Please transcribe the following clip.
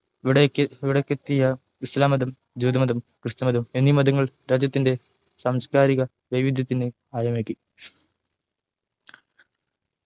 ഇവിടെക് ഇവിടെ എത്തിയ ഇസ്ലാം മതം ജൂതമതം ക്രിസ്തുമതം എന്നീ മതങ്ങൾ രാജ്യത്തിൻ്റെ സാംസ്‌കാരിക വൈവിധ്യതിന്നു ആഴമേകി